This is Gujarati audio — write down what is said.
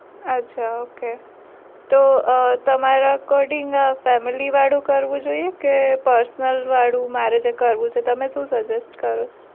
આછા okay તો તમાર according filmy વાળું કરવું જોઈ એ કે person વાળું મારે જે કરવું છે તે તમે શું suggest કરો?